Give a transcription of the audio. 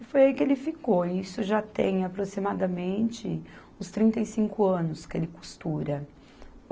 E foi aí que ele ficou e isso já tem aproximadamente uns trinta e cinco anos que ele costura.